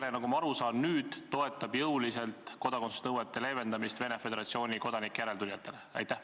EKRE, nagu ma aru saan, toetab nüüd jõuliselt kodakondsusnõuete leevendamist Venemaa Föderatsiooni kodanike järeltulijate puhul.